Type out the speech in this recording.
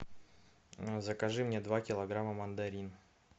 закажи мне два килограмма мандарин